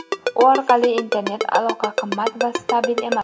u orqali internet aloqa qimmat va stabil emas.